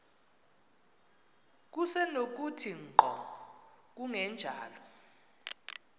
kusenokuthi ngqo kungenjalo